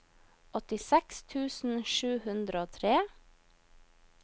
åttiseks tusen sju hundre og tre